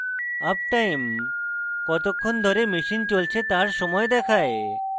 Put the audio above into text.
uptime কতক্ষণ ধরে machine চলছে তার সময় দেখায়